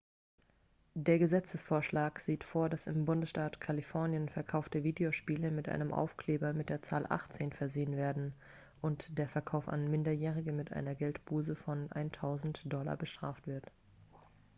der gesetzesvorschlag sieht vor dass im bundesstaat kalifornien verkaufte videospiele mit einem aufkleber mit der zahl 18 versehen werden und der verkauf an minderjährige mit einer geldbuße von 1000 $ bestraft wird